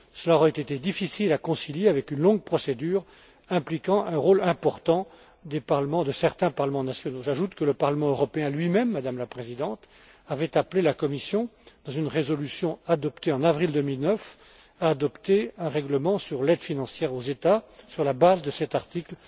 Cela aurait été difficile à concilier avec une longue procédure impliquant un rôle important de certains parlements nationaux. J'ajoute que le Parlement européen lui même, Madame la Présidente, avait appelé la Commission, dans une résolution adoptée en avril 2009, à adopter un règlement sur l'aide financière aux États sur la base de cet article